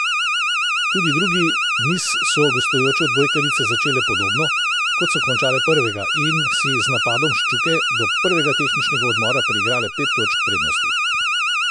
Tudi drugi niz so gostujoče odbojkarice začele podobno, kot so končale prvega in si z napadom Ščuke do prvega tehničnega odmora priigrale pet točk prednosti.